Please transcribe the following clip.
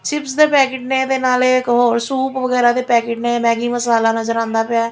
Chips ਦੇ packet ਨੇ ਤੇ ਨਾਲੇ ਇੱਕ ਹੋਰ ਸੂਪ ਵਗੈਰਾ ਦੇ ਪੈਕੇਟ ਨੇ ਮੈਗੀ ਮਸਾਲਾ ਨਜ਼ਰ ਆਉਂਦਾ ਪਿਆ।